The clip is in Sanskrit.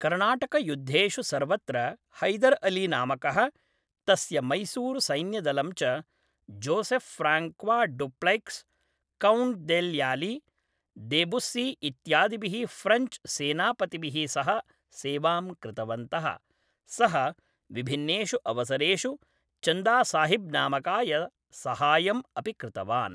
कर्णाटकयुद्धेषु सर्वत्र हैदर् अली नामकः तस्य मैसूरुसैन्यदलं च, Joseph Francois Dupleix, count de Lally, de Bussy इत्यादिभिः फ़्रेञ्च् सेनापतिभिः सह सेवां कृतवन्तः, सः विभिन्नेषु अवसरेषु चन्दासाहिब् नामकाय सहायम् अपि कृतवान्।